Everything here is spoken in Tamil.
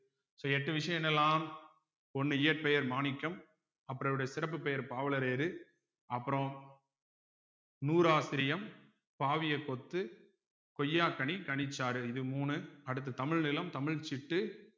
so எட்டு விஷயம் என்னெல்லாம் ஒண்ணு இயற்பெயர் மாணிக்கம் அப்புறம் இவருடைய சிறப்பு பெயர் பாவலரேறு அப்புறம் நூறாசிரியம் பாவியக் கொத்து கொய்யாக்கனி கனிச்சாறு இது மூணு அடுத்து தமிழ் நிலம் தமிழ் சிட்டு